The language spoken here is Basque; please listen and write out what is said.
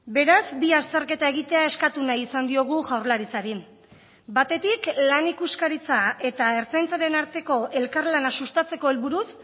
beraz bi azterketa egitea eskatu nahi izan diogu jaurlaritzari batetik lan ikuskaritza eta ertzaintzaren arteko elkarlana sustatzeko helburuz